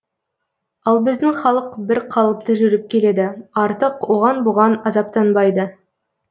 ал біздің халық бір қалыпты жүріп келеді артық оған бұған азаптанбайды